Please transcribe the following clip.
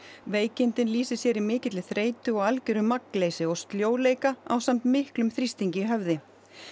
veikindin lýsi sér í mikilli þreytu og algjöru magnleysi og sljóleika ásamt miklum þrýstingi í höfði